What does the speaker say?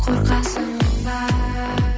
қорқасың ба